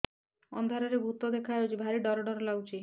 ଅନ୍ଧାରରେ ଭୂତ ଦେଖା ଯାଉଛି ଭାରି ଡର ଡର ଲଗୁଛି